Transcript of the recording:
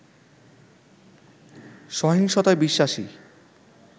সহিংসতায় বিশ্বাসী